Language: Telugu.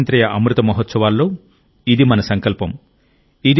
ఈ స్వాతంత్ర్య అమృత మహోత్సవాల్లో ఇది మన సంకల్పం